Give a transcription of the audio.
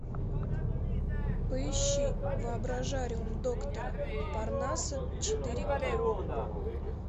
поищи воображариум доктора парнаса четыре ка